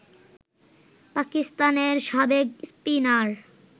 পাকিস্তানের সাবেক স্পিনার